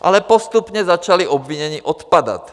Ale postupně začala obvinění odpadat.